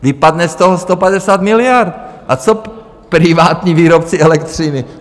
Vypadne z toho 150 miliard, a co privátní výrobci elektřiny?